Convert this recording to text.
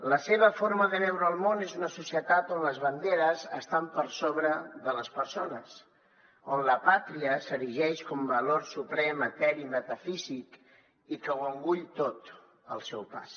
la seva forma de veure el món és una societat on les banderes estan per sobre de les persones on la pàtria s’erigeix com a valor suprem eteri metafísic i que ho engoleix tot al seu pas